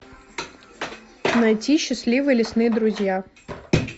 найти счастливые лесные друзья